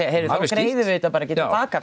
að nú greiðum við þetta ekki til baka